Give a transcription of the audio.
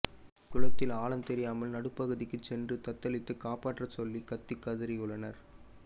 குளத்தில் ஆழம் தெரியாமல் நடுப்பகுதிக்கு சென்று தத்தளித்து காப்பாற்ற சொல்லி கத்தி கதரியுள்ளனர்